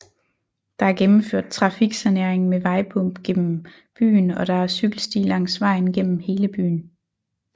Der er gennemført trafiksanering med vejbumpgennem byen og der er cykelsti langs vejen gennem hele byen